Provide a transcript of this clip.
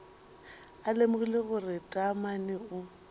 a lemogile gore taamane o